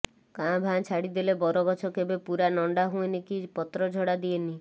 କାଁ ଭାଁ ଛାଡ଼ିଦେଲେ ବରଗଛ କେବେ ପୂରା ନଣ୍ଡା ହୁଏନି କି ପତ୍ରଝଡ଼ା ଦିଏନି